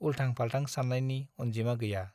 उल्थां-फाल्थां सान्नायनि अनजिमा गैया।